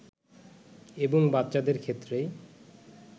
এবং বাচ্চাদের ক্ষেত্রেই